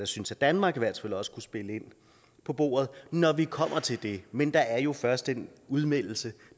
synes at danmark i hvert fald også kunne spille ind på bordet når vi kommer til det men der er jo først en udmeldelse